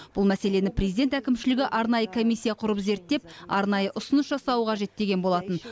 бұл мәселені президент әкімшілігі арнайы комиссия құрып зерттеп арнайы ұсыныс жасауы қажет деген болатын